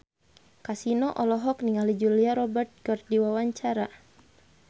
Kasino olohok ningali Julia Robert keur diwawancara